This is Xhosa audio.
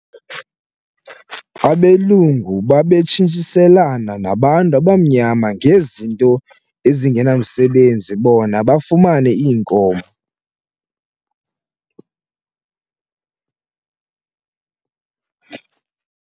Abelungu babetshintshiselana nabantu abamnyama ngezinto ezingenamsebenzi bona bafumane iinkomo.